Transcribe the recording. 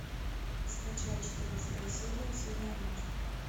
скачай четырнадцатая серия судная ночь